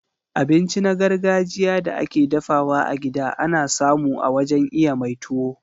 Abinci na gargajiya da ake dafawa a gida ana samu a wajen iya mai tuwo.